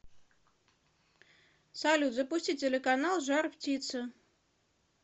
салют запусти телеканал жар птица